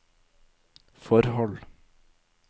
forhold